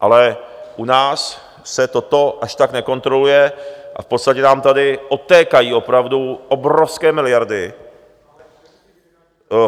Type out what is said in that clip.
Ale u nás se toto až tak nekontroluje a v podstatě nám tady odtékají opravdu obrovské miliardy.